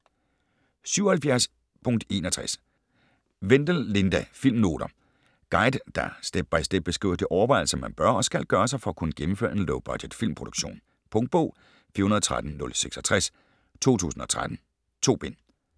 77.61 Wendel, Linda: Filmnoter Guide, der step-by-step beskriver de overvejelser man bør og skal gøre sig for at kunne gennemføre en low-budget filmproduktion. Punktbog 413066 2013. 2 bind.